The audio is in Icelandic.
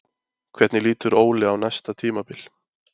Hvernig lítur Óli á næsta tímabil?